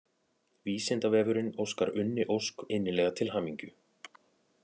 Vísindavefurinn óskar Unni Ósk innilega til hamingju.